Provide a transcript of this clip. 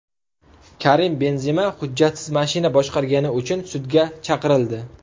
Karim Benzema hujjatsiz mashina boshqargani uchun sudga chaqirildi .